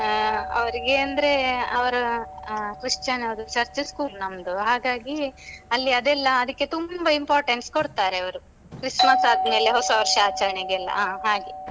ಅವರಿಗೆ ಅಂದ್ರೆ ಅವರ ಅಹ್ Christian ಅವ್ರು church school ನಮ್ದು ಹಾಗಾಗಿ ಅಲ್ಲಿ ಅದೆಲ್ಲ ಅದಕ್ಕೆ ತುಂಬ importance ಕೊಡ್ತಾರೆ ಅವ್ರು. Christmas ಆದ್ಮೇಲೆ ಹೊಸವರ್ಷ ಆಚರಣೆಗೆಲ್ಲ ಅಹ್ ಹಾಗೆ.